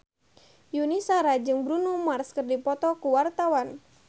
Yuni Shara jeung Bruno Mars keur dipoto ku wartawan